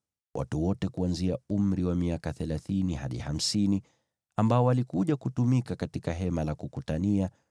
Watu wote kuanzia umri wa miaka thelathini hadi hamsini ambao walikuja kutumika katika Hema la Kukutania,